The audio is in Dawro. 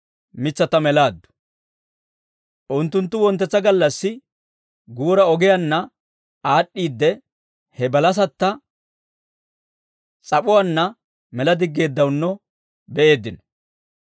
Unttunttu wonttetsa gallassi guura ogiyaanna aad'd'iidde, he balasatta s'ap'uwaanna mela diggeeddawunno be'eeddino.